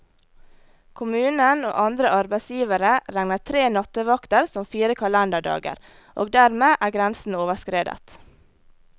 Kommunen og andre arbeidsgivere regner tre nattevakter som fire kalenderdager, og dermed er grensen overskredet.